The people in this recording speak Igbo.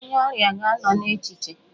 Onye ọrịa ga-anọ n'echiche.